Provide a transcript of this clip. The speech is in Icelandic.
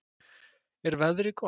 er veðrið gott